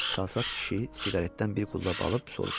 Çalsat kişi siqaretdən bir qullab alıb soruşdu.